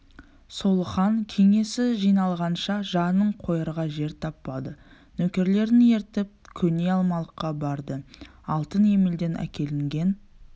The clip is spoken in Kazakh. сол хан кеңесі жиналғанша жанын қоярға жер таппады нөкерлерін ертіп көне алмалыққа барды алтын емелден әкелінген